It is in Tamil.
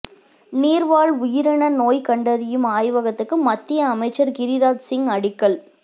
நீா்வாழ் உயிரின நோய் கண்டறியும் ஆய்வகத்துக்கு மத்திய அமைச்சா் கிரிராஜ் சிங் அடிக்கல்